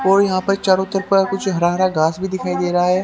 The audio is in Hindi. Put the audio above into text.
और यहां पर चारों तरफ कुछ हरा हरा घास भी दिखाई दे रहा है।